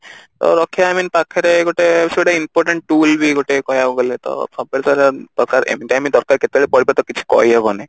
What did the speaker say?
ତ ରଖିବା I mean ପାଖରେ ଗୋଟେ ସେଟା important tool ବି ଗୋଟେ କହିବାକୁ ଗଲେ ତ ସବୁ ପ୍ରକାର ଦରକାର any time ଦରକାର କେତେବେଳ ପଡିବ ତ କିଛି କହି ହବନି